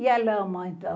E a lama, então.